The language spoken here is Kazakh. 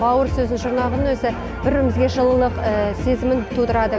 бұл сөздің жұрнағының өзі бір бірімізге жылылық сезімін тудырады